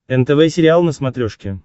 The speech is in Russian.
нтв сериал на смотрешке